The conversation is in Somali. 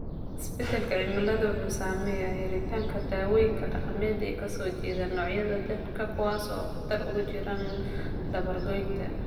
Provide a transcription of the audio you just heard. Isbeddelka cimiladu wuxuu saameeyaa helitaanka dawooyinka dhaqameed ee ka soo jeeda noocyada dhirta kuwaas oo khatar ugu jira dabar-goynta.